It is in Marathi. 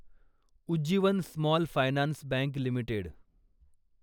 Ujjivan small finance bank limited